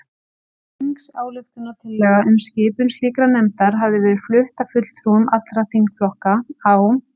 Þingsályktunartillaga um skipun slíkrar nefndar hafði verið flutt af fulltrúum allra þingflokka á